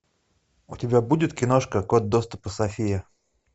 у тебя будет киношка код доступа софия